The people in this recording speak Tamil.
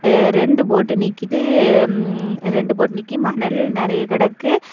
எ ரெண்டு போட்டு நிக்குது. ம் ரெண்டு போட் நிக்கி மணல் நெறய கிடக்கு.